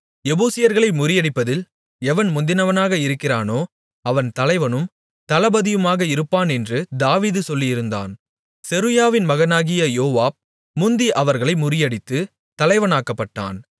எபூசியர்களை முறியடிப்பதில் எவன் முந்தினவனாக இருக்கிறானோ அவன் தலைவனும் தளபதியுமாக இருப்பானென்று தாவீது சொல்லியிருந்தான் செருயாவின் மகனாகிய யோவாப் முந்தி அவர்களை முறியடித்து தலைவனாக்கப்பட்டான்